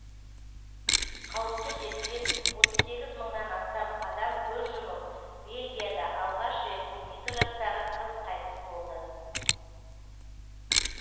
қауіпті дерттен отыз сегіз мыңнан астам адам көз жұмып бельгияда алғаш рет он екі жастағы қыз қайтыс болды